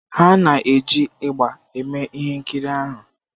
Ha na-eji ịgbà eme ihe nkiri ahụ.